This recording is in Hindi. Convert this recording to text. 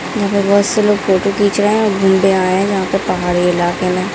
यहाँ पर बहुत से लोग फोटो घींच रहें हैं घूमने आए हैं यहाँ पर पहाड़ी इलाके में।